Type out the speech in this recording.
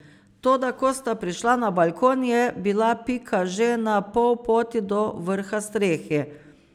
Toda ko sta prišla na balkon, je bila Pika že na pol poti do vrha strehe.